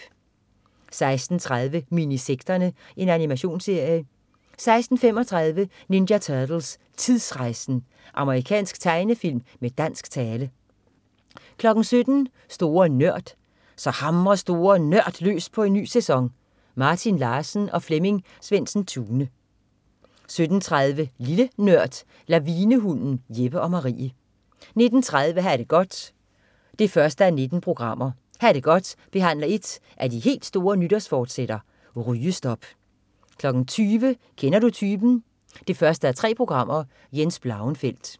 16.30 Minisekterne. Animationsserie 16.35 Ninja Turtles: Tidsrejsen! Amerikansk tegnefilm med dansk tale 17.00 Store Nørd. Så hamrer Store NØRD løs på en ny sæson! Martin Larsen og Flemming Svendsen-Tune 17.30 Lille NØRD. Lavinehunden. Jeppe og Marie 19.30 Ha' det godt 1:19. "Ha' det godt" behandler et af de helt store nytårsforsætter: Rygestop! 20.00 Kender du typen 1:3. Jens Blauenfeldt